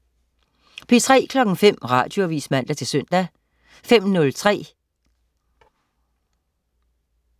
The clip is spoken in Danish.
P3: